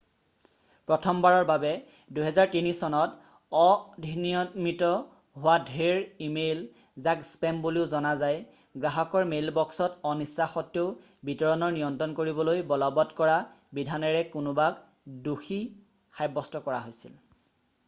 প্ৰথমবাৰৰ বাবে 2003 চনত অধিনিয়মিত হোৱা ঢেৰ ইমেইল যাক স্পেম বুলিও জনা যায় গ্ৰাহকৰ মেইলবক্সত অনিচ্ছাসত্বেও বিতৰণৰ নিয়ন্ত্ৰণ কৰিবলৈ বলৱৎ কৰা বিধানেৰে কোনোবাক দোষী সাব্যস্ত কৰা হৈছিল